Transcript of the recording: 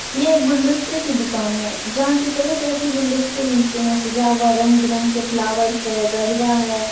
यह एक गुलदस्तें की दुकान है जहाँ की तरह-तरह की गुलदस्तें मिलते हैं सजा हुआ रंग-बिरंग के फ्लॉवर्स है गजरा है ।